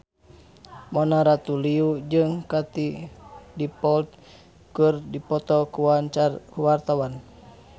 Mona Ratuliu jeung Katie Dippold keur dipoto ku wartawan